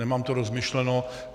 Nemám to rozmyšleno.